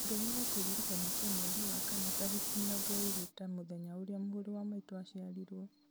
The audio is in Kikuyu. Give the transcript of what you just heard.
ongerera kĩririkania kĩa mweri wa kana tarĩki mĩrongo ĩĩrĩ ta mũthenya ũrĩa mũrũ wa maitũ aciarirwo